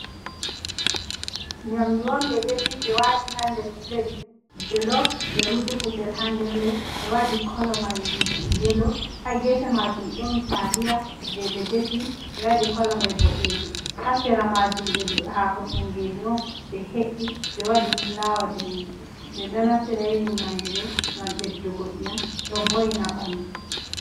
Nyamdu on, ɓe defi ɓe waati haa nder pulet jelov ɓe rufi kusel ,haa nder may be waɗi kolo may yelo. Haa geefe maajum ɗon taliya jey ɓe defi ɓe waɗi kolo may boɗeejum. Haa sera maajum be haako tinngeje on ɓe he’i ɓe waɗi fulaawa daneejum, ɓe ɗo naftira nyiiri nyamdu ɗo ngam ɓeddugo ƴiyam ,ɗo vo''ina ɓanndu.